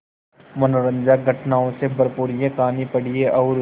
मनोरंजक घटनाओं से भरपूर यह कहानी पढ़िए और